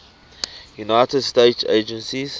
united states agency